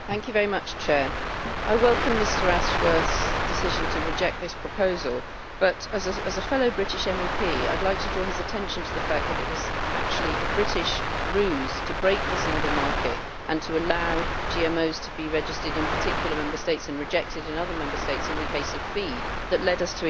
I welcome Mr Ashworth's decision to reject this proposal but, as a fellow British MEP, I would like to draw his attention to the fact that it was actually a British ruse to break the Single Market and to allow GMOs to be registered in particular Member States and rejected in other Member States, in the case of feed, that led us to exactly this problem.